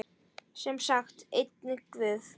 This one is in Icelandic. Sem sagt, enginn guð.